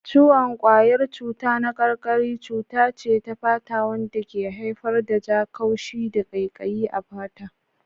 Ciwon ƙwayar cuta na karkari cuta ce ta fata wanda ke haifar da ja, haushi, da ƙaiƙayi a fata.